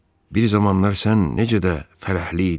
Bir zamanlar sən necə də fərəhli idin?